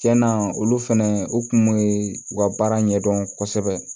Tiɲɛna olu fɛnɛ u kun ye u ka baara ɲɛdɔn kosɛbɛ